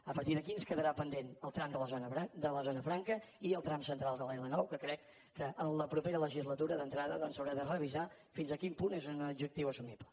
a partir d’aquí ens quedarà pendent el tram de la zona franca i el tram central de l’l9 que crec que en la propera legislatura d’entrada doncs s’haurà de revisar fins a quin punt és un objectiu assumible